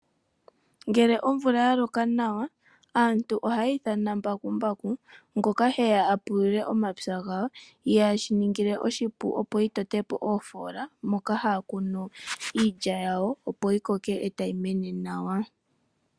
Ngele omvula yaloka nawa aantu ohaya ithana mbakumbaku ngoka heya apuluke omapya gawo. Shino ohashi ta ningile oshipu, opo a tote oofola moka taya kunu iilya tawo, yi koke etayi mene nawa.